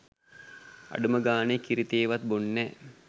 අඩුම ගානේ කිරිතේ වත් බොන්නැ